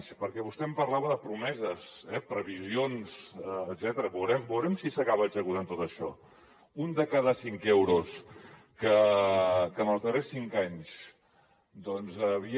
perquè vostè em parlava de promeses previsions etcètera veurem si s’acaba executant tot això un de cada cinc euros que en els darrers cinc anys havia